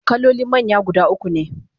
kaloli manya guda ukune